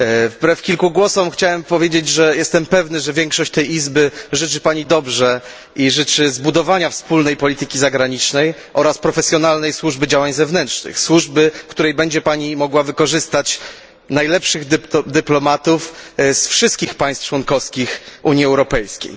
Wbrew kilku głosom chciałbym powiedzieć, że jestem pewny, że większość tej Izby życzy pani dobrze i życzy zbudowania wspólnej polityki zagranicznej oraz profesjonalnej służby działań zewnętrznych, służby, w której będzie pani mogła wykorzystać najlepszych dyplomatów z wszystkich państw członkowskich Unii Europejskiej.